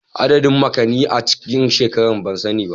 Adadin makonni a cikin shekara ban sani ba